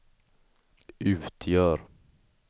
utgör